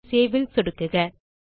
இப்போது Saveல் சொடுக்குக